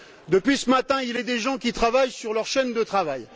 Depuis ce matin, il y a des gens qui travaillent sur leur chaîne de travail.